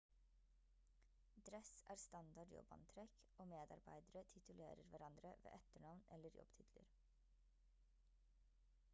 dress er standard jobbantrekk og medarbeidere titulerer hverandre ved etternavn eller jobbtitler